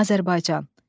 Azərbaycan.